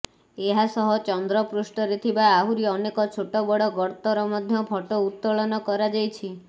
ଏହା ସହ ଚନ୍ଦ୍ର ପୃଷ୍ଠରେ ଥିବା ଆହୁରି ଅନେକ ଛୋଟବଡ଼ ଗର୍ତ୍ତର ମଧ୍ୟ ଫଟୋ ଉତ୍ତୋଳନ କରାଯାଇଛି